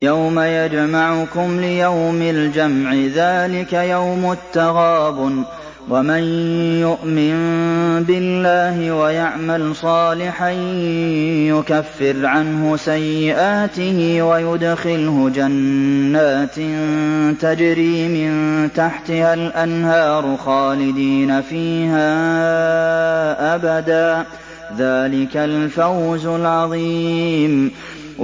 يَوْمَ يَجْمَعُكُمْ لِيَوْمِ الْجَمْعِ ۖ ذَٰلِكَ يَوْمُ التَّغَابُنِ ۗ وَمَن يُؤْمِن بِاللَّهِ وَيَعْمَلْ صَالِحًا يُكَفِّرْ عَنْهُ سَيِّئَاتِهِ وَيُدْخِلْهُ جَنَّاتٍ تَجْرِي مِن تَحْتِهَا الْأَنْهَارُ خَالِدِينَ فِيهَا أَبَدًا ۚ ذَٰلِكَ الْفَوْزُ الْعَظِيمُ